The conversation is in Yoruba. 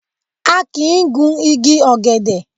A kìí gun igi ọ̀gẹ̀dẹ̀.